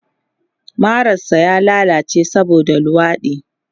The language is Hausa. Marar sa ya lallace saboda luwaɗi